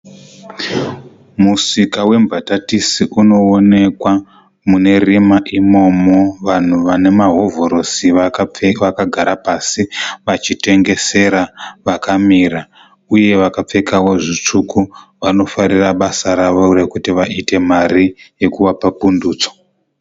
Musika wembatatisi unoonekwa mune rima imomo. Vanhu vane mahovhorosi vakagara pasi vachitengesera vakamira uye vakapfekawo zvitsvuku vanofarira basa ravo rekuti vaite mari yekuvapa pundutso.